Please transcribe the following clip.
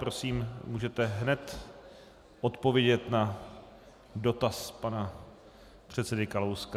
Prosím, můžete hned odpovědět na dotaz pana předsedy Kalouska.